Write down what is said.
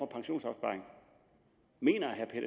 pensionsopsparing mener herre